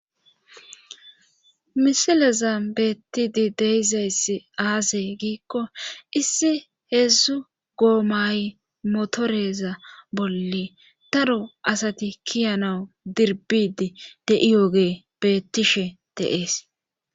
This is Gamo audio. misileza beettidi deizayssi aasey giikko issi heedzdzu goomay motoreza bolle daro asati kiyanawu dirbidi de7iyooge beettishe deees